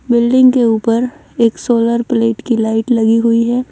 Building के ऊपर एक सोलर प्लेट की लाइट लगी हुई है।